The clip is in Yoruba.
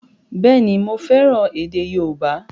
Bẹ́ẹ̀ni, mo fẹ́ràn èdè yóòbá